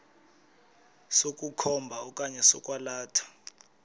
sokukhomba okanye sokwalatha